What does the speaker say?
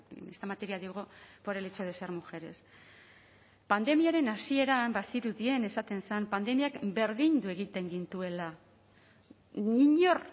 en esta materia digo por el hecho de ser mujeres pandemiaren hasieran bazirudien esaten zen pandemiak berdindu egiten gintuela inor